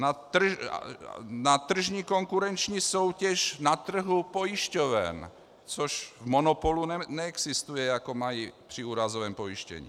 Na tržní konkurenční soutěž na trhu pojišťoven, což v monopolu neexistuje, jako mají při úrazovém pojištění.